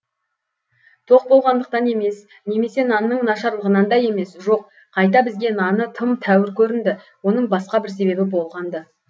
тоқ болғандықтан емес немесе нанның нашарлығынан да емес жоқ қайта бізге наны тым тәуір көрінді оның басқа бір себебі болған ды болған ды